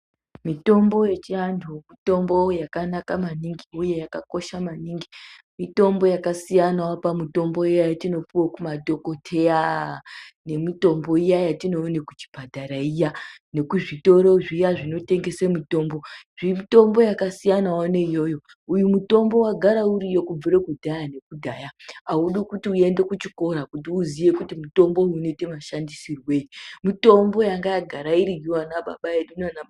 Mitombo yechianhu mitombo yakanaka maningi uye yakakosha maningi. Mitombo yakasiyana pamitombo iya yatipuwe kumadhokodheya nemitombo iya yatinoone kuchipataraiya nekuzvitoro zviya zvinotengese mitombo. Mitombo yakasiyana neiyoyo Uyu mutombo wagara uriyo kubvira nekudhaya nekudhaya, audi kuti uende kuchikora kuti uziye kuti unoite mashandisirwei. mitomboyanga yagara iriyo yana baba edu.